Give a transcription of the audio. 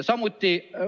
Samuti ...